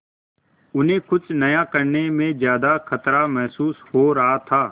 उन्हें कुछ नया करने में ज्यादा खतरा महसूस हो रहा था